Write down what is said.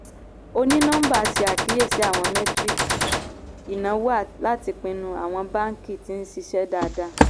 onínọmbà ṣe àkíyèsí àwọn metiríkì ìnáwó láti pinnu àwọn báàǹkì tí ń ṣiṣẹ́ dáadáa.